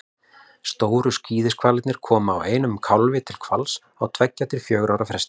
stóru skíðishvalirnir koma einum kálfi til hvals á tveggja til fjögurra ára fresti